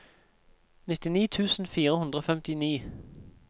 nittini tusen fire hundre og femtini